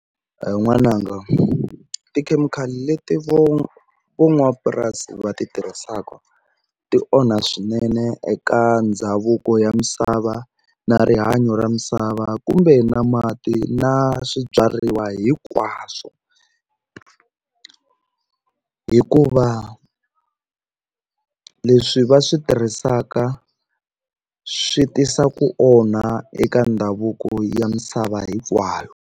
He n'wananga tikhemikhali leti vo vo n'wapurasi va ti tirhisaka ti onha swinene eka ndhavuko ya misava na rihanyo ra misava kumbe na mati na swibyariwa hinkwaswo hikuva leswi va swi tirhisaka swi tisa ku onha eka ndhavuko ya misava hinkwayo.